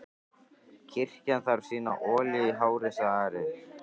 Kirkjan þarf sína olíu í hárið, sagði Ari.